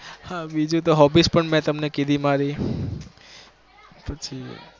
હા બીજું તો hobbies પણ મેં તમને કીધી મારી પછી